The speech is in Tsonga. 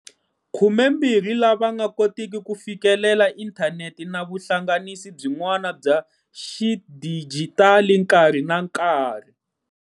12 lava nga koteki ku fikelela inthanete na vuhlanganisi byin'wana bya xidijitali nkarhi na nkarhi.